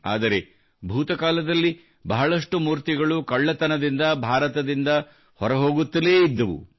ಆದರೆ ಭೂತ ಕಾಲದಲ್ಲಿ ಬಹಳಷ್ಟು ಮೂರ್ತಿಗಳು ಕಳ್ಳತನದಿಂದು ಭಾರತದಿಂದ ಹೊರ ಹೋಗುತ್ತಲೇ ಇದ್ದವು